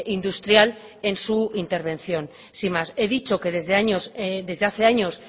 industrial en su intervención sin más he dicho que desde hace años